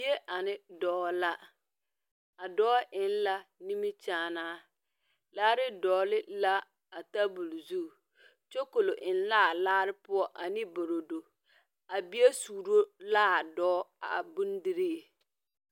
Bie ane doɔ la ,a doɔ eng la nimikyaane laare dɔɔle la a tabuli zu kyukoli en la a laa pou ani borodo a bie suuro la a doɔ a bondirii.